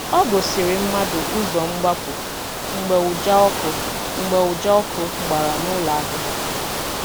Ọ gòsìrì̀ mmadụ ụzọ́ mgbapụ̀ mgbe ụja ọkụ̀ mgbe ụja ọkụ̀ gbara n’ụlọ ahịa.